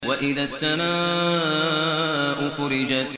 وَإِذَا السَّمَاءُ فُرِجَتْ